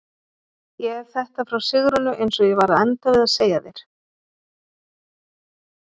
Ég hef þetta frá Sigrúnu eins og ég var að enda við að segja þér.